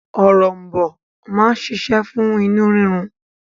Òrom̀bó máa ń ṣiṣẹ́ fún inú rírun.